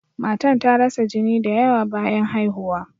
Matan ta rasa jini da yawa bayan haihuwa.